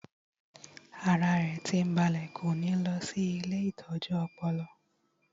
Ara rẹ̀ tí ń balẹ̀ kò ní lọ sí ilée ìtọ́jú ọpọlọ